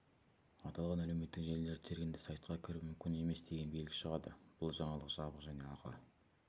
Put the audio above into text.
аталған әлеуметтік желілерді тергенде сайтқа кіру мүмкін емес деген белгі шығады бұл жаңалық жабық және ақы